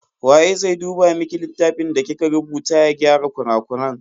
Waye zai duba miki littafin da kika rubuta ya gyara kurakuran?